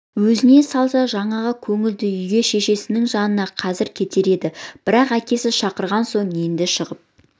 өзіне салса жаңағы көңілді үйге шешесінің жанына қазір кетер еді бірақ әкесі шақырған соң енді шығып